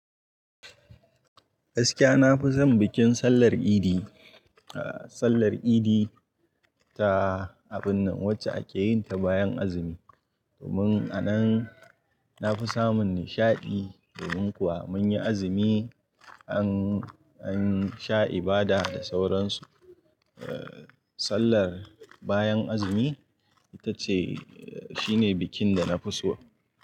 Gaskiya na fi son bikin sallar Idi, ah sallar Idi ta abin nan wacce ake yin ta bayan azumi. Domin a nan na fi samun nishaɗi domin kuwa mun yi azumi an, an sha ibada da sauransu. Eh sallar bayan azumi ita ce, shi ne bikin da na fi so.